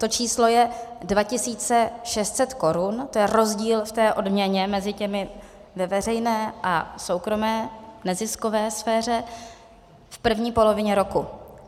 To číslo je 2 600 korun, to je rozdíl v odměně mezi těmi ve veřejné a soukromé neziskové sféře v první polovině roku.